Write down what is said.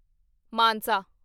Mansa